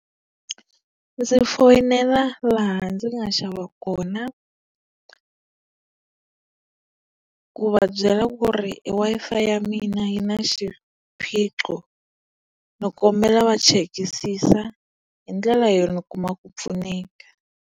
Ndzi foyinela laha ndzi nga xava kona. Ku va byela ku ri e Wi-Fi ya mina yi na xiphiqo, ni kombela va chekisisa. Hi ndlela ni kuma ku pfuneka.